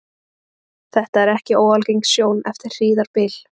Þetta er ekki óalgeng sjón eftir hríðarbyl.